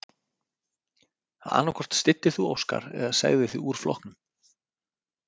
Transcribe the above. Að annað hvort styddir þú Óskar eða segðir þig úr flokknum?